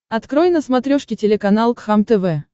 открой на смотрешке телеканал кхлм тв